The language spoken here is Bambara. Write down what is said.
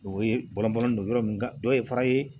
O ye bɔlɔn bɔlɔn don yɔrɔ min dɔ ye fara ye